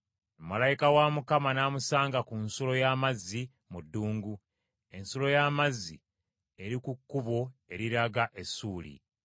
Malayika wa Mukama n’amusanga ku nsulo y’amazzi mu ddungu, ensulo y’amazzi eri ku kkubo eriraga e Ssuuli.